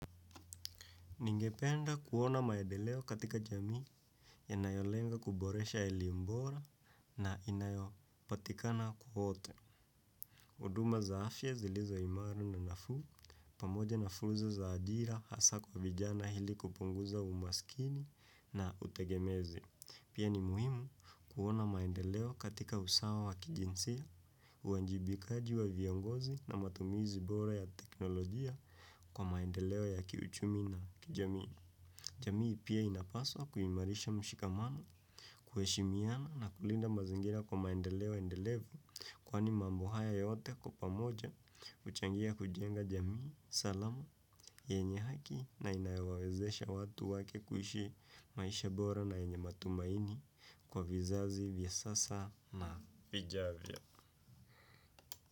Ningependa kuona maendeleo katika jamii yanayo lenga kuboresha elimu bora na inayopatikana kwote. Uduma za afya zilizo imaru na nafu, pamoja na furza za ajira hasa kwa vijana hili kupunguza umasikini na utegemezi. Pia ni muhimu kuona maedeleo katika usawa wa kijinsia, uanjibikaji wa viongozi na matumizi bora ya teknolojia kwa maedeleo ya kiuchumi na kijamii. Jamii pia inapaswa kuhimarisha mshikamano, kuheshimiana na kulinda mazingira kwa maendeleo endelevu. Kwani mambo haya yote kwa pamoja, uchangia kujenga jamii, salama, yenye haki na inaewawezesha watu wake kuhishi maisha bora na yenye matumaini kwa vizazi, vyasasa na vijavya.